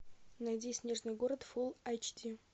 найди снежный город фулл айч ди